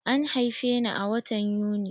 An haife ni a watan Yuni.